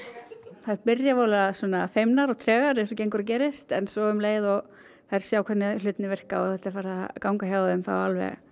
þær byrja voðalega feimnar og tregar eins og gengur og gerist en svo um leið og þær sjá hvernig hlutirnir virka og þetta er farið að ganga hjá þeim þá alveg